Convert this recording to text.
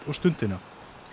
og Stundina